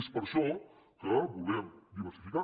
és per això que volem diversificar